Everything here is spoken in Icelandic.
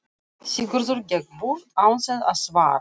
Sigurður gekk burt án þess að svara.